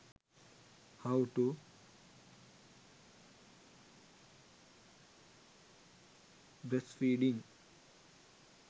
how to breastfeeding